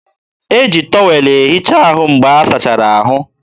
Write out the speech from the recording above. e ji tọwel ehicha ahụ mgbe a sachara ahụ.